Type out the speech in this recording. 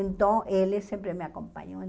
Então, ele sempre me acompanhou.